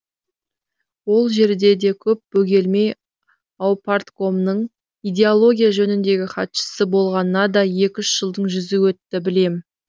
ол жерде де көп бөгелмей аупарткомның идеология жөніндегі хатшысы болғанына да екі үш жылдың жүзі өтті білем